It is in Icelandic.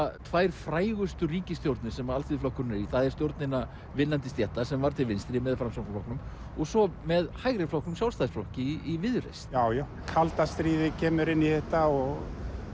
tvær frægustu ríkisstjórnir sem Alþýðuflokkurinn er í það er stjórn hinna vinnandi stétta sem var til vinstri með Framsóknarflokknum og svo með hægriflokknum Sjálfstæðisflokki í viðreisn já já kalda stríðið kemur inn í þetta og